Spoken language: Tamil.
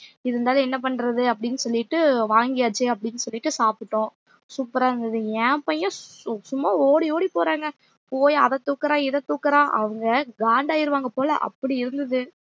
இருந்தாலும் என்ன பண்றது அப்படின்னு சொல்லிட்டு வாங்கியாச்சு அப்படின்னு சொல்லிட்டு சாப்பிட்டோம் super ஆ இருந்தது என் பையன் சும்மா ஓடி ஓடி போறாங்க போய் அதை தூக்குறான் இதை தூக்குறான் அவங்க காண்டு ஆயிருவாங்க போல அப்படி இருந்தது